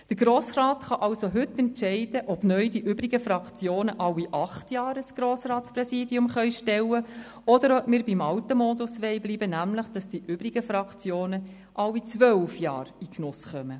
Der Grosse Rat kann also heute entscheiden, ob neu die übrigen Fraktionen alle acht Jahre ein Grossratspräsidium stellen können, oder ob wir beim alten Modus bleiben wollen, nämlich beim System, dass die übrigen Fraktionen alle zwölf Jahre in diesen Genuss kommen.